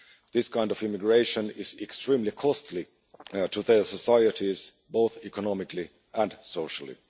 This kind of immigration is extremely costly to their societies both economically and socially.